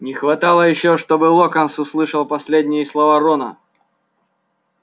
не хватало ещё чтобы локонс услышал последние слова рона